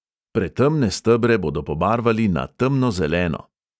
Pretemne stebre bodo pobarvali na temnozeleno.